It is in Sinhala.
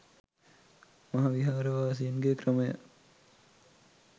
මහා විහාර වාසීන්ගේ ක්‍රමය